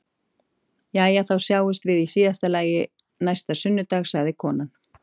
Jæja, þá sjáumst við í síðasta lagi næsta sunnudag, sagði konan.